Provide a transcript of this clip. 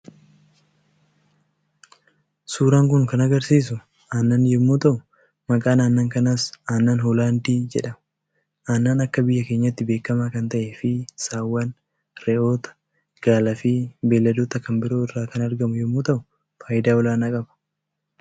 Suuraan kan agarsiisu aannan yommuu ta'u maqaan aannan kanaas 'Aannan Hoolaandii' jedhama. Aannan akka biyya keenyaatti beekamaa kan ta'eefi Saawwan, Re'oota, Gaalaa fi beelladoota kan biroo irraa kan argamu yommuu ta'u, faayidaa olaanaa qaba.